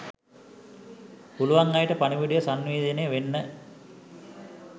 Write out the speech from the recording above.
පුලුවන් අයට පණිවුඩය සන්නිවේදනය වෙන්න